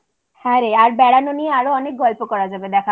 হ্যাঁরে আর বেড়ানো নিয়ে আরও অনেক গল্প করা যাবে দেখা হলে